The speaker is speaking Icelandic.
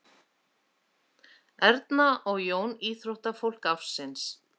Erna og Jón íþróttafólk ársins